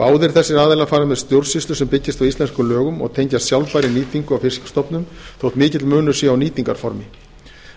báðir þessir aðilar fara með stjórnsýslu sem byggist á íslenskum lögum og tengjast sjálfbærri nýtingu á fiskstofnum þótt mikill munur sé á nýtingarformi